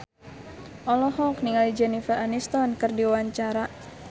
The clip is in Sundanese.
Intan Ayu Purnama olohok ningali Jennifer Aniston keur diwawancara